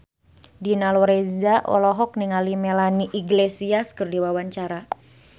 Dina Lorenza olohok ningali Melanie Iglesias keur diwawancara